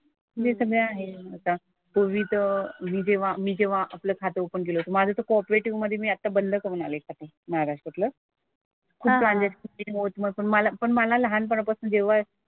हे सगळं आहे आता. मी जेव्हा मी जेव्हा आपलं खातं ओपन केलं होतं, माझं तर कॉपरेटिव्ह मधे मी आता बंद करून आले खातं महाराष्ट्रातलं. मला पण मला लहानपणापासून जेव्हा,